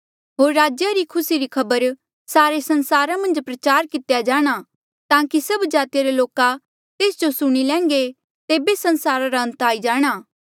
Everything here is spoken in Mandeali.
होर राज्या री ये खुसी री खबर सारे संसारा मन्झ प्रचार कितेया जाणा ताकि सब जातिया रे लोका तेस जो सुणी लैन्घे तेबे संसारा रा अंत आई जाणा